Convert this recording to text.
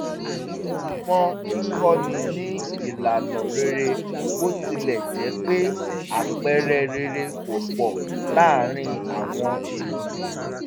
wọ́n tẹnumọ́ kíkọ́ni ní ìlànà rere bó tilẹ̀ jẹ́ pé àpẹẹrẹ rere kò pọ̀ láàrín àwọn ènìyàn